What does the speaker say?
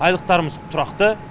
айлықтарымыз тұрақты